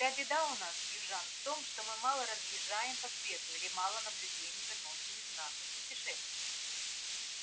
вся беда у нас южан в том что мы мало разъезжаем по свету или мало наблюдений выносим из наших путешествий